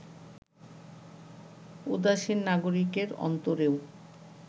উদাসীন নাগরিকের অন্তরেও